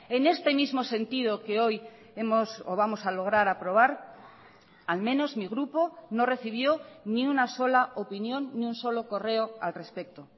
en este mismo sentido que hoy vamos a lograr aprobar al menos mi grupo no recibió ni una sola opinión ni un solo correo al respecto